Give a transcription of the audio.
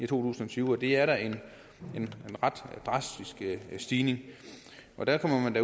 tusind og tyve det er da en ret drastisk stigning og derfor må man